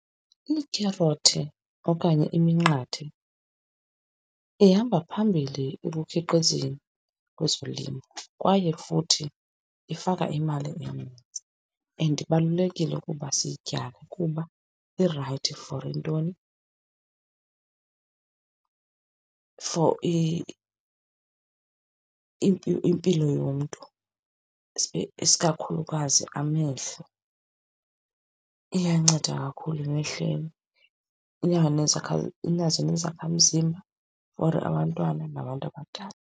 iikherothi okanye iminqathe ihamba phambili ekukhiqizeni kwezolimo kwaye futhi ifaka imali eninzi, and ibalulekile ukuba siyityale kuba irayithi for ntoni for impilo yomntu isikakhulukazi amehlo, iyanceda kakhulu emehlelweni. Inazo nezakhamzimba for abantwana nabantu abadala.